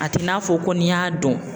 A t'i n'a fɔ ko n'i y'a dɔn